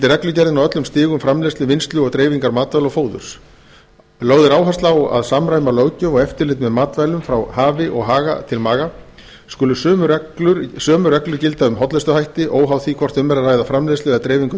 reglugerðin á öllum stigum framleiðslu vinnslu og dreifingar matvæla og fóðurs lögð er áhersla á að samræma löggjöf og eftirlit með matvælum frá hafi og haga til maga skulu sömu reglur gilda um hollustuhætti óháð því hvort um er að ræða framleiðslu eða dreifingu á